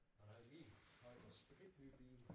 Han havde lige han havde fået sprit ny bil